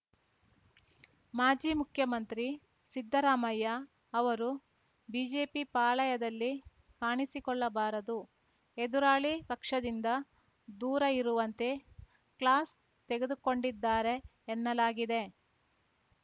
ಮಾಜಿ ಮುಖ್ಯಮಂತ್ರಿ ಸಿದ್ದರಾಮಯ್ಯ ಅವರು ಬಿಜೆಪಿ ಪಾಳಯದಲ್ಲಿ ಕಾಣಿಸಿಕೊಳ್ಳಬಾರದು ಎದುರಾಳಿ ಪಕ್ಷದಿಂದ ದೂರ ಇರುವಂತೆ ಕ್ಲಾಸ್‌ ತೆಗೆದುಕೊಂಡಿದ್ದಾರೆ ಎನ್ನಲಾಗಿದೆ